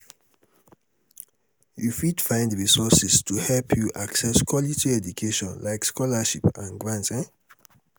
you fit um find resources to help you um access quality education like scholarships and grants. um